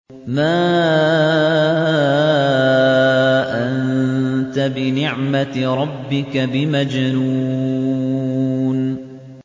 مَا أَنتَ بِنِعْمَةِ رَبِّكَ بِمَجْنُونٍ